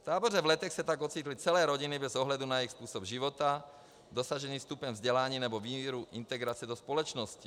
V táboře v Letech se tak ocitly celé rodiny bez ohledu na jejich způsob života, dosažený stupeň vzdělání nebo míru integrace do společnosti.